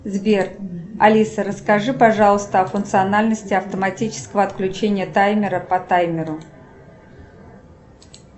сбер алиса расскажи пожалуйста о функциональности автоматического отключения таймера по таймеру